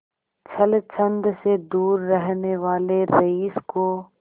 छल छंद से दूर रहने वाले रईस को